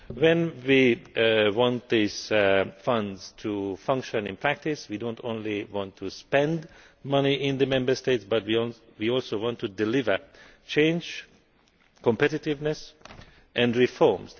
When we want these funds to function in practice, we do not want just to spend money in the Member States, we also want to deliver change, competitiveness and reforms.